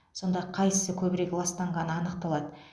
сонда қайсысы көбірек ластанғаны анықталады